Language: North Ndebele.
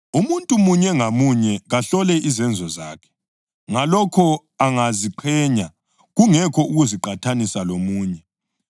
Umuntu munye ngamunye kahlole izenzo zakhe. Ngalokho angaziqhenya, kungekho ukuziqathanisa lomunye,